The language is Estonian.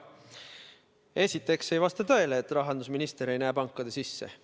Esiteks ei vasta tõele, et rahandusminister ei näe pankade sisse.